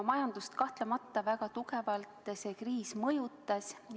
Majandust kahtlemata väga tugevalt see kriis mõjutas.